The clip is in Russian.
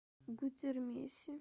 гудермесе